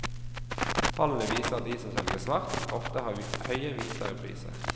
Tallene viser at de som selger svart ofte har høye hvitere priser.